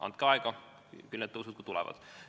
Andke aega, küll need tõusud tulevad.